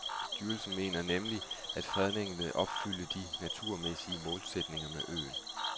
Styrelsen mener nemlig, at fredningen vil opfylde de naturmæssige målsætninger med øen.